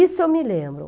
Isso eu me lembro.